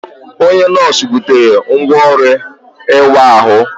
Onye nọọsụ butere ngwá ọrụ ịwa ahụ.